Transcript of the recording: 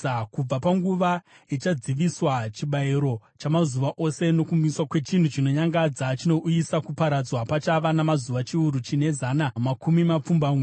“Kubva panguva ichadziviswa chibayiro chamazuva ose nokumiswa kwechinhu chinonyangadza chinouyisa kuparadzwa, pachava namazuva chiuru chine zana namakumi mapfumbamwe.